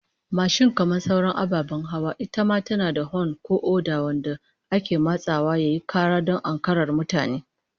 Mashin kamar sauran ababen hawa, ita ma tana da hon ko oda wanda ake matsawa yayi kara don ankarar da mutane